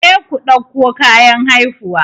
Je ku ɗauko kayan haihuwa!